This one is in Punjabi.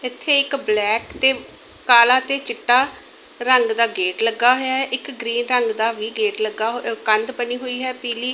ਇੱਥੇ ਇੱਕ ਬਲੈਕ ਤੇ ਕਾਲਾ ਤੇ ਚਿੱਟਾ ਰੰਗ ਦਾ ਗੇਟ ਲੱਗਾ ਹੋਇਆ ਇੱਕ ਗਰੀਨ ਰੰਗ ਦਾ ਵੀ ਗੇਟ ਲੱਗਾ ਕੰਧ ਬਣੀ ਹੋਈ ਹੈ ਪੀਲੀ।